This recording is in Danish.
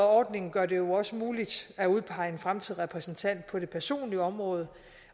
ordning gør det jo også muligt at udpege en fremtidig repræsentant på det personlige område